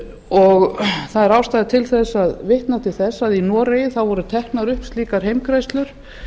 og það er ástæða til þess að vitna til þess að í noregi voru teknar upp slíkar heimgreiðslur